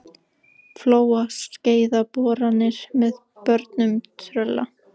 Flóa og Skeiða boranir með bornum Trölla.